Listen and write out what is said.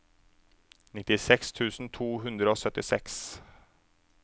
nittiseks tusen to hundre og syttiseks